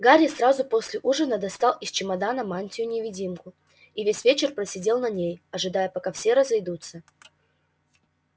гарри сразу после ужина достал из чемодана мантию-невидимку и весь вечер просидел на ней ожидая пока все разойдутся